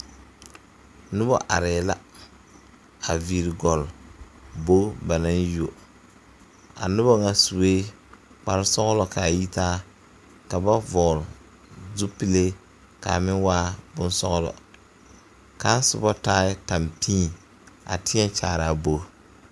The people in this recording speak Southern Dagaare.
Noba arɛɛ la a viiri gɔle bogi ba naŋ yuo a noba ŋa sue kpare sɔglo ka a yitaa ka ba vɔgle zupilee ka a meŋ waa boŋ sɔglɔ kaŋa soba taɛ tampion a teɛ kyaare a bogi.